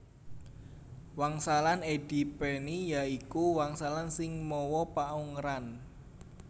Wangsalan edi peni ya iku wangsalan sing mawa paungeran